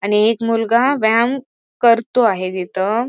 आणि एक मुलगा व्यायाम करतो आहे तिथ.